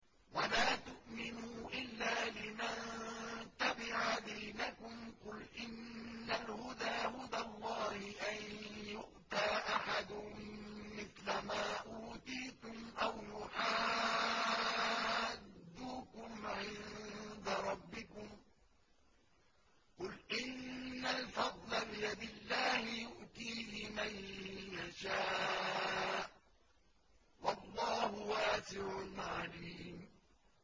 وَلَا تُؤْمِنُوا إِلَّا لِمَن تَبِعَ دِينَكُمْ قُلْ إِنَّ الْهُدَىٰ هُدَى اللَّهِ أَن يُؤْتَىٰ أَحَدٌ مِّثْلَ مَا أُوتِيتُمْ أَوْ يُحَاجُّوكُمْ عِندَ رَبِّكُمْ ۗ قُلْ إِنَّ الْفَضْلَ بِيَدِ اللَّهِ يُؤْتِيهِ مَن يَشَاءُ ۗ وَاللَّهُ وَاسِعٌ عَلِيمٌ